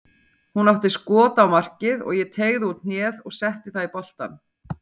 Hann átti skot á markið og ég teygði út hnéð og setti það í boltann.